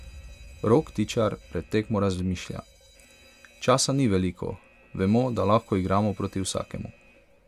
Rok Tičar pred tekmo razmišlja: "Časa ni veliko, vemo, da lahko igramo proti vsakemu.